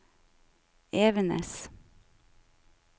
Evenes